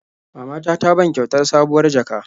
Mama ta ta ban kyautar sabuwar jaka.